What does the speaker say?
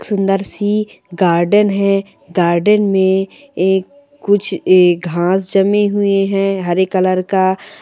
सुंदर सी गार्डन है गार्डन में आ कुछ घास जमे हुए है हरे कलर का--